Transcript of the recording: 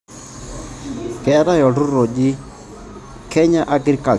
Keetae olturrurr oji Kenya Agricultural Research Institute. KARI Technical